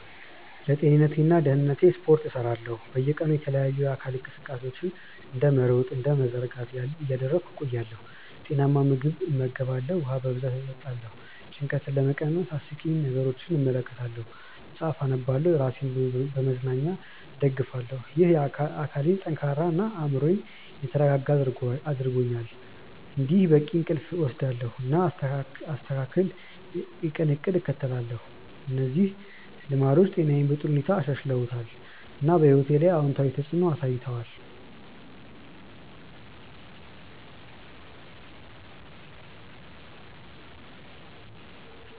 ለጤንነቴና ደህንነቴ ስፖርት እሰራለሁ፣ በየቀኑ የተለያዩ የአካል እንቅስቃሴዎችን እንደ መሮጥ እና መዘርጋት እያደረግሁ እቆያለሁ። ጤናማ ምግብ እመገባለሁ፣ ውሃ በብዛት እጠጣለሁ። ጭንቀትን ለመቀነስ አስቂኝ ነገሮችን እመለከታለሁ፣ መጽሐፍ አነባለሁ እና ራሴን በመዝናኛ እደግፋለሁ። ይህ አካሌን ጠንካራ እና አእምሮዬን የተረጋጋ አድርጎኛል። እንዲሁም በቂ እንቅልፍ እወስዳለሁ፣ እና አስተካክል የቀን እቅድ እከተላለሁ። እነዚህ ልማዶች ጤናዬን በጥሩ ሁኔታ አሻሽለዋል፣ እና በሕይወቴ ላይ አዎንታዊ ተፅዕኖ አሳይተዋል።